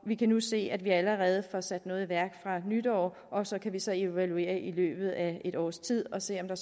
vi kan nu se at vi allerede får sat noget i værk fra nytår og så kan vi så evaluere det i løbet af et års tid og se om der